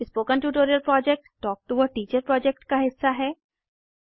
spoken tutorial project talk to a teacher project का हिस्सा है